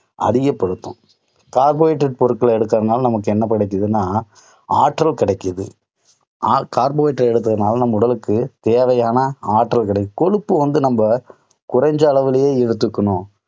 அதிகப்படுத்தும் carbohydrate கலந்த பொருட்களை எடுக்கறதனால நமக்கு எனன கிடைக்குதுன்னா, ஆற்றல் கிடைக்குது carbohydrate எடுக்கறதுனால நம்ம உடலுக்கு தேவையான ஆற்றல் கிடைக்கும். கொழுப்பு வந்து நம்ம குறைஞ்ச அளவிலேயே எடுத்துக்கணும்.